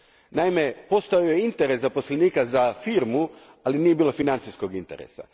Naime, postojao je interes zaposlenika za firmu, ali nije bilo financijskog interesa.